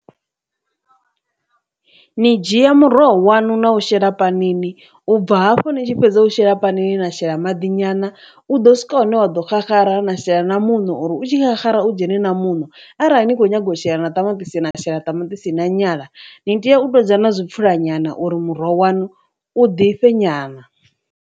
Ni dzhia muroho wanu na u shela panini ubva hafhu ni tshi fhedza u shela phanini na shela maḓi nyana, u ḓo swika hune wa ḓo xaxara na shela na mu muṋo uri u tshi xaxara u dzhene na muṋo arali ni kho nyaga u tshila na tamatisi na shela ṱamaṱisi na nyala, ni tea u ṱoḓa na zwipfhura nyana uri muroho wanu u ḓifhe nyana.